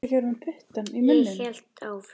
Ég held áfram